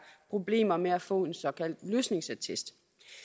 problemer med at få en såkaldt løsningsattest